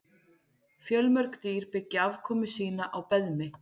Fjölmörg dýr byggja afkomu sína á beðmi.